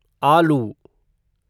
आलू